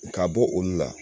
Ka bɔ olu la